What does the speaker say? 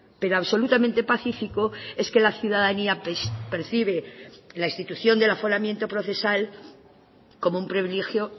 pero absolutamente pacífico es que la ciudadanía percibe la institución del aforamiento procesal como un privilegio